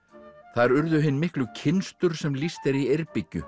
þar urðu hin miklu kynstur sem lýst er í